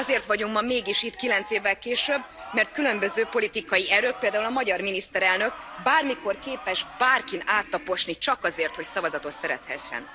Azért vagyunk ma mégis itt 9 évvel később, mert különböző politikai erők, például a magyar miniszterelnök bármikor képes bárkin áttaposni csak azért, hogy szavazatot szerezhessen.